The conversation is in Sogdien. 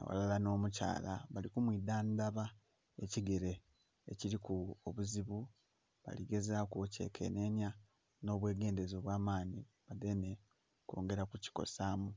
aghalala nh'omukyala bali kumwidhandhan ekigere ekiriku obuzibu baligezaku okyekenhenya nhobwegendhereza obwamanhi badheme okwongera okukikosamu.